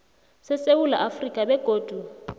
sesewula afrika begodu